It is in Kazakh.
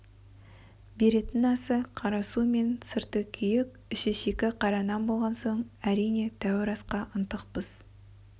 беретін асы қара су мен сырты күйік іші шикі қара нан болған соң әрине тәуір асқа ынтықпыз